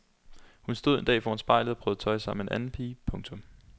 Hun stod en dag foran spejlet og prøvede tøj sammen med en anden pige. punktum